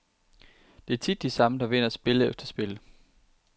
Det er tit de samme, der vinder spil efter spil.